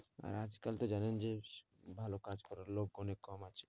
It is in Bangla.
আর আজকাল তো জানেন যে ভালো কাজ করার লোক অনেক কম আছে,